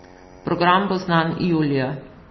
Program bo znan julija.